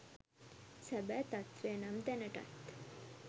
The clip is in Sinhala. සැබෑ තත්වය නම් දැනටත්